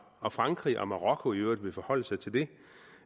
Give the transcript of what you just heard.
og frankrig og marokko i øvrigt vil forholde sig til det